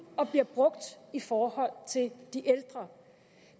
og bliver brugt i forhold til de ældre